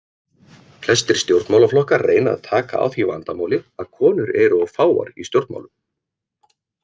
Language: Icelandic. Flestir stjórnmálaflokkar reyna að taka á því vandamáli að konur eru of fáar í stjórnmálum.